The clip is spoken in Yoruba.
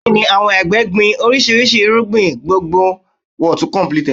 Bẹ́ẹ̀ni, àwọn àgbẹ̀ gbin oríṣiríṣi irúgbìn gbòǹgbò